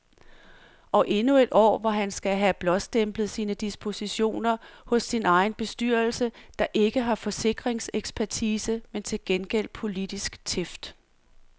Og endnu et år, hvor han skal have blåstemplet sine dispositioner hos sin egen bestyrelse, der ikke har forsikringsekspertise, men til gengæld politisk tæft.